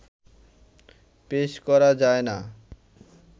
পেশ করা যায় না